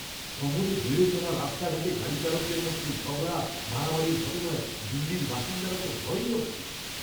শহরে বেড়ে চলা রাস্তাঘাটে গাড়িচালকদের মধ্যে ঝগড়া মারামারির ঘটনায় দিল্লির বাসিন্দারা তো ভয়েই অস্থির।